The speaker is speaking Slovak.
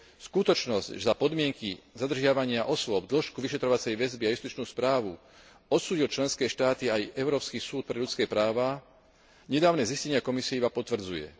Skutočnosť, že za podmienky zadržiavania osôb, dĺžku vyšetrovacej väzby a justičnú správu odsúdil členské štáty aj Európsky súd pre ľudské práva, nedávne zistenia Komisie iba potvrdzuje.